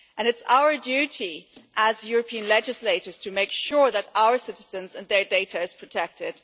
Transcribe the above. And it's our duty as European legislators to make sure that our citizens and their data is protected.